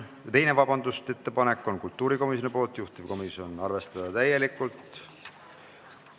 Teine ettepanek on kultuurikomisjonilt, juhtivkomisjon: arvestada täielikult.